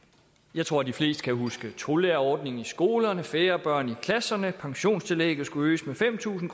jeg tror at de fleste kan huske tolærerordning i skolerne færre børn i klasserne pensionstillægget skulle øges med fem tusind